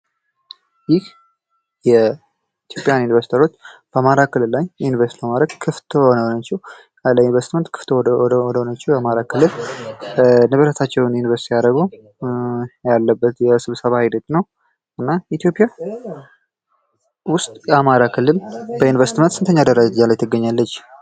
ይህ የኢትዮጵያ ኢንቨርስተሮች በአማራ ክልል ላይ ኢንቨስት በማድረግ ክፍት የሆነ ናቸው ። ለኢንቨስትመንት ክፍት ወደ ሆነውች የአማራ ክልል ንብረታችወን እንቨስት ቢያደርጉ ያላበት የስብሰባ ሂደት ነው። እና ኢትዮጵያ ውስጥ የአማራ ክልል በኢንቨስትመንት ስንተኛ ደረጃ ላይ ትገኛለች?